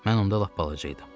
Mən onda lap balaca idim.